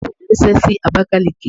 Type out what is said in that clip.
Àbúrò mi rí ṣe sí Abakaliki.